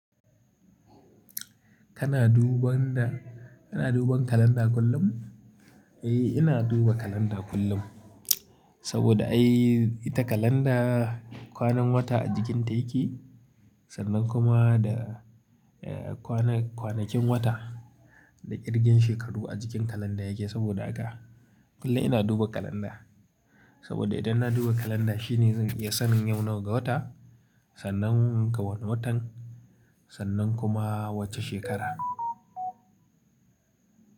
Kana duban da, kana duban kalanda kullum? Eh, ina duba kalanda kullum. Saboda ai ita kalanda kwanan wata a jikin ta yake, sannan kuma da, eh kwanan kwanakin wata da ƙirgen shekaru a jikin kalandar yake. Saboda haka kullum ina duba kalanda. Saboda idan na duba kalanda shi ne zan iya sanin yau nawa ga wata, sannan ga wane watan, sannan kuma wace shekara.